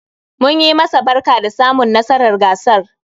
Munyi masa barka da samun nasarar gasar